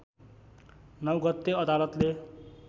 ९ गते अदालतले